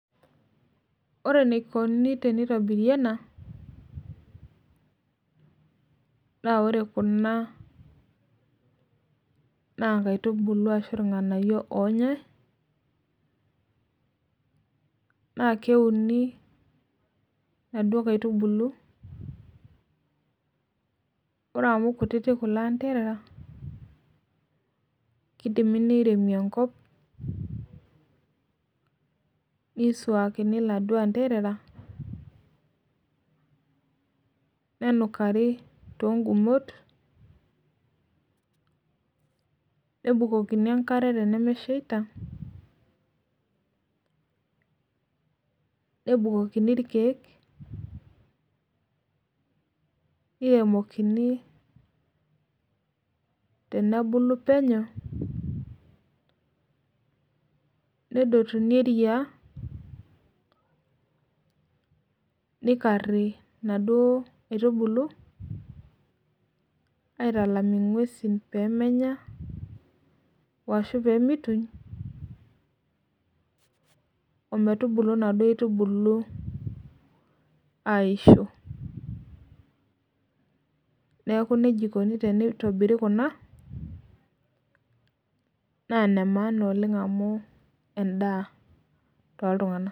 Ore enikoni tenitobiri ena na ore kuna na nkaitubulu ashu irnganayio onyae na keuni naduo kaitubulu ore amu kutitik kulo anderera kidimi niremi enkop nisuakini laduo anderera nenukari tongumot nebukokini enkare tenemeshaita nebukokini irkiek niremokini tenwbuku penyo nedotumi eyia nikari naduo aitubulu aitalam ingwesi pemenya ashu pemituny emetubulu naduo aitubulu aisho neaku nejia ikuni tenitobiri kuna na nemaana oleng amu endaa toltunganak